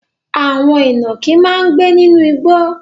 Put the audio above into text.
Àwọn ìnàkí máa ń gbé nínú igbó.